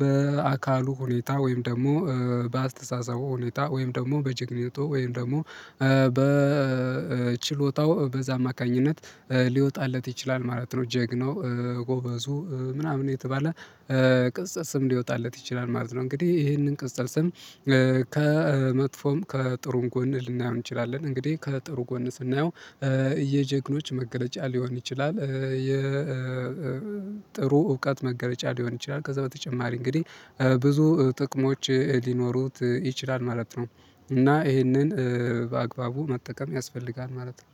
በአካሉ ሁኔታ ወይም ደግሞ በአስተሳሰቡ ሁኔታ ወይም ደግሞ በጀግንነቱ ወይም ደግሞ በ በችሎታው በዛ አማካኝነት ሊወጣለት ይችላል ማለት ነው። ጀግናው ጎበዙ ምናምን እየተባለ ቅጽል ስም ሊወጣለት ይችላል ማለት ነው። እንግዲህ ይሄንን ቅጽል ስም ከመጥፎም ከጥሩም ጎን ልናየው እንችላለን። እንግዲህ ከጥሩ ጎን ስናየው የጀግኖች መገለጫ ሊሆን ይችላል የጥሩ እውቀት መገለጫ ሊሆን ይችላል ከዛ በተጨማሪ እንግዲህ ብዙ ጥቅሞች ሊኖሩት ይችላል ማለት ነው። እና ይሄንን በአግባቡ መጠቀም ያስፈልጋል ማለት ነው።